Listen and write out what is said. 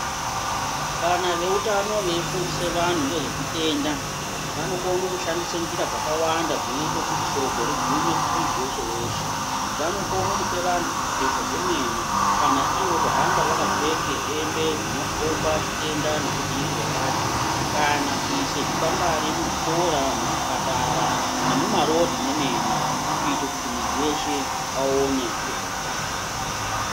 Kana ve utano vei fundise vanhu ngezve zvitenda vano kone kushandisa njira dzaka wanda dzino ite kuti shoko rigume ku muntu weshe weshe vano kone kupe vanhu zvipfeko zve mene kana iwo ku hambe vaka pfeke hembe dzino komba chitenda neku dzivirirwa kwacho kana kuise zvi kwangwari mu zvikora mu zvipatara nemu marodhi mwe mene kuita kuti muntu weshe aone ngezve utano.